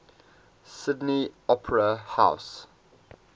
sydney opera house